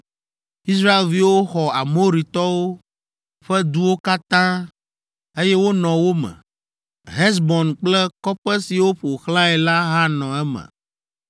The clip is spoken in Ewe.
Israelviwo xɔ Amoritɔwo ƒe duwo katã, eye wonɔ wo me; Hesbon kple kɔƒe siwo ƒo xlãe la hã nɔ eme.